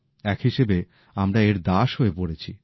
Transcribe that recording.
এক হিসেবে আমরা এর দাস হয়ে পড়েছি